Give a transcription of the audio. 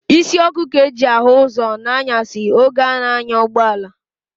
Isi ọkụ ka e ji ahụ ụzọ n'anyasị oge a na-anya ụgbọala.